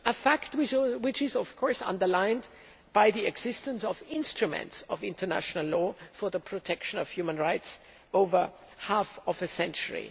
This fact is, of course, emphasised by the existence of instruments of international law for the protection of human rights over half a century.